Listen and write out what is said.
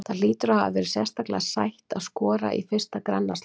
Það hlýtur að hafa verið sérstaklega sætt að skora í fyrsta grannaslagnum?